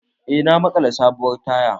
Eh na maƙala sabuwar tayar